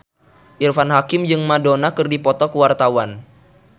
Irfan Hakim jeung Madonna keur dipoto ku wartawan